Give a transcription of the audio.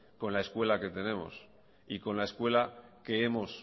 con la escuela que tenemos y con la escuela que hemos